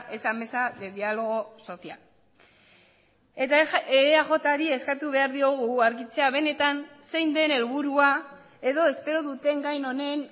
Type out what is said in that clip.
esa mesa de diálogo social eta eajri eskatu behar diogu argitzea benetan zein den helburua edo espero duten gai honen